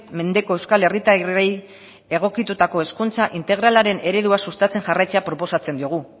mendeko euskal herritarrei egokitutako hezkuntza integralaren eredua sustatzen jarraitzea proposatzen diogu